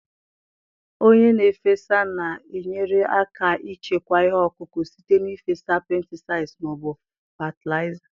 Onye na-efesa na-enyere aka ichekwa ihe ọkụkụ site n'ịfesa pesticides ma ọ bụ fatịlaịza.